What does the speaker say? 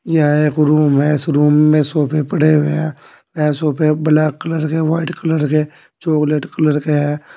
यह एक रूम है इस रूम में सोफे पड़े हुए हैं ये सोफे ब्लैक कलर के व्हाइट कलर के चॉकलेट कलर के हैं।